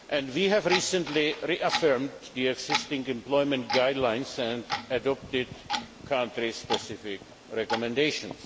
We have recently reaffirmed the existing employment guidelines and adopted country specific recommendations.